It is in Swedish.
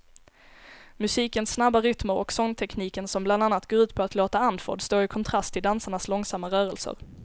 Musikens snabba rytmer och sångtekniken som bland annat går ut på att låta andfådd står i kontrast till dansarnas långsamma rörelser.